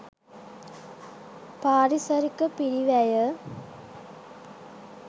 පාරිසරික පිරිවැය